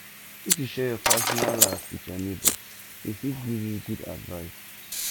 if you share your personal life wit your nebor e fit give you good advice